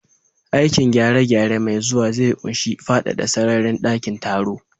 Aikin gyare-gyare mai zuwa zai ƙunshi faɗaɗa sararin dakin taro.